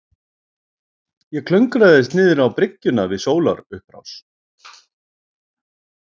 Ég klöngraðist niðrá bryggjuna við sólarupprás.